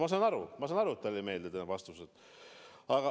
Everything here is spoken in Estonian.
No ma saan aru, et talle ei meeldi need vastused.